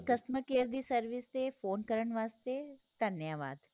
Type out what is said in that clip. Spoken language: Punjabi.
ਸਾਡੀ customer care ਦੀ service ਤੇ ਫੋਨ ਕਰਨ ਵਾਸਤੇ ਧੰਨਵਾਦ